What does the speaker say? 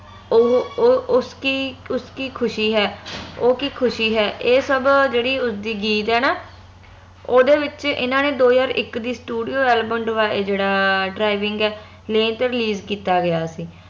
ਉਹ ਉਹ ਉਸਕੀ ਉਸਕੀ ਖੁਸ਼ੀ ਹੈ ਉਹ ਕਿ ਖੁਸ਼ੀ ਹੈ ਇਹ ਸਬ ਜਿਹੜੇ ਉਸਦੀ ਗੀਤ ਆ ਨਾ ਓਹਦੇ ਵਿਚ ਏਹਨਾ ਨੇ ਦੋ ਹਜਾਰ ਇਕ ਦੀ studio ਆ ਜੇਹੜਾ driving ਆ release ਕੀਤਾ ਗਯਾ ਸੀ